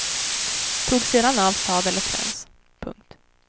Tog sedan av sadel och träns. punkt